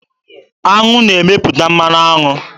Aṅụ na-emepụta mmanụ aṅụ.